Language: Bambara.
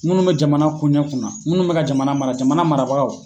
Minnu bɛ jamana koɲɛ kunna minnu bɛ ka jamana mara jamana marabagaw.